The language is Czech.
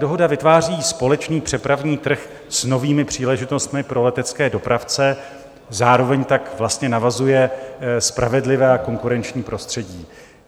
Dohoda vytváří společný přepravní trh s novými příležitostmi pro letecké dopravce, zároveň tak vlastně navazuje spravedlivé a konkurenční prostředí.